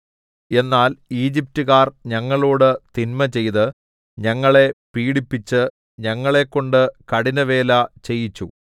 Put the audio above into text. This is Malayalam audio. എന്നാൽ ഈജിപ്റ്റുകാർ ഞങ്ങളോടു തിന്മചെയ്ത് ഞങ്ങളെ പീഡിപ്പിച്ച് ഞങ്ങളെക്കൊണ്ട് കഠിനവേല ചെയ്യിച്ചു